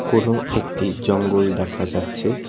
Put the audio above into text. কোনো একটি জঙ্গল দেখা যাচ্ছে।